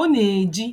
Ọ na-eji